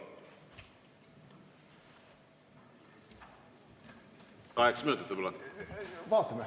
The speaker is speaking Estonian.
Kaheksa minutit võib‑olla?